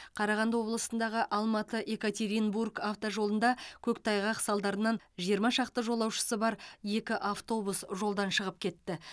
қарағанды облысындағы алматы екатеринбург автожолында көктайғақ салдарынан жиырма шақты жолаушысы бар екі автобус жолдан шығып кетті